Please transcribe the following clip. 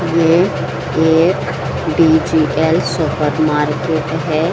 ये एक DGL. Supermarket है।